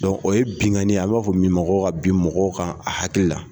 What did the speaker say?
o ye binkanni ye a b'a fɔ min ma ko ka bin mɔgɔw kan a haki la.